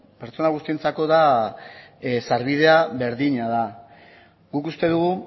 pertsona guztientzako sarbidea berdina da guk uste dugu